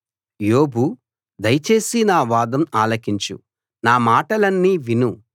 యోబు దయచేసి నా వాదం ఆలకించు నా మాటలన్నీ విను